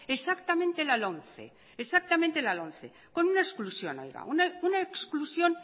exactamente la lomce con una exclusión